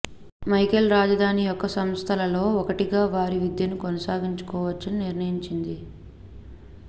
Michael రాజధాని యొక్క సంస్థలలో ఒకటిగా వారి విద్యను కొనసాగించవచ్చు నిర్ణయించుకుంది